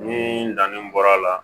Ni danni bɔra a la